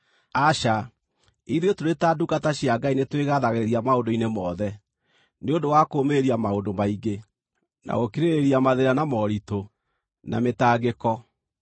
Aca, ithuĩ tũrĩ ta ndungata cia Ngai nĩtwĩgathagĩrĩria maũndũ-inĩ mothe: nĩ ũndũ wa kũũmĩrĩria maũndũ maingĩ; na gũkirĩrĩria mathĩĩna na moritũ, na mĩtangĩko;